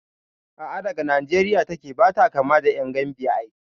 A'a daga Nijeriya take, bata kama da ƴan Gambiya ai